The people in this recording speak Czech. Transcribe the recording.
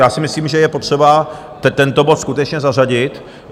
Já si myslím, že je potřeba tento bod skutečně zařadit.